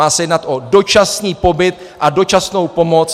Má se jednat o dočasný pobyt a dočasnou pomoc.